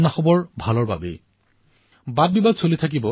বাস্তৱিকতে এই যুৱ খেলুৱৈজনে বিশ্বৰ সকলোৰে হৃদয় জয় কৰিলে